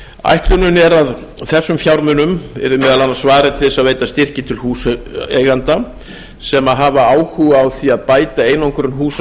ætlunin er að þessum fjármunum yrði meðal annars varið til að veita styrki til húseigenda sem hafa áhuga á því að bæta einangrun húsa